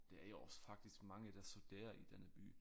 Der er jo også faktisk mange der studerer i denne by